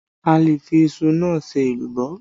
A le fi iṣu náà ṣe èlùbọ́